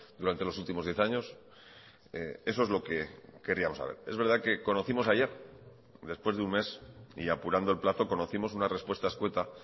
durante los últimos diez años eso es lo que queríamos saber es verdad que conocimos ayer después de un mes y apurando el plazo conocimos una respuesta escueta